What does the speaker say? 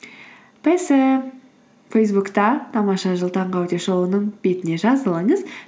пэ сэ фейсбукте тамаша жыл таңғы аудиошоуының бетіне жазылыңыз